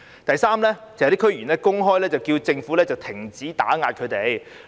第三，有些區議員公開叫政府停止打壓他們。